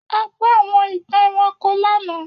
A gbọ́ àwọn ìtàn ẹranko lánàá.